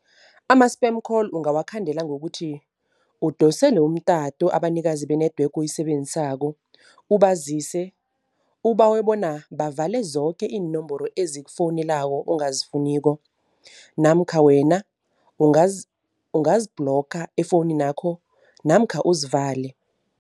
Ama-spam call ungawakhandela ngokuthi udosele umtato abanikazi be-network oyisebenzisako, ubazise, ubawe bona bavale zoke iinomboro ezikufowunelako ongazifuniko. Namkha wena ungazi-blocker efowuninakho namkha uzivale.